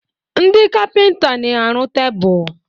Ndị kapịnta na-arụ tebụl.